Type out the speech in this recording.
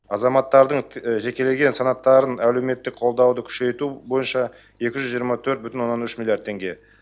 азаматтардың жекелеген санаттарын әлеуметтік қолдауды күшейту бойынша екі жүз жиырма төрт бүтін оннан үш миллиард теңге